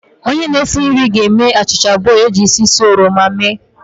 Onye na-esi nri ga-eme achịcha abụọ e ji isi ísì uto oroma mee